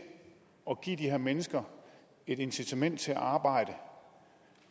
at give de her mennesker et incitament til at arbejde